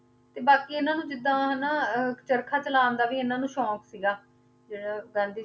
ਤੇ ਬਾਕੀ ਇਹਨਾਂ ਨੂੰ ਜਿੱਦਾਂ ਹਨਾ ਅਹ ਚਰਖਾ ਚਲਾਉਣ ਦਾ ਵੀ ਇਹਨਾਂ ਨੂੰ ਸ਼ੌਂਕ ਸੀਗਾ, ਜਿਹੜਾ ਗਾਂਧੀ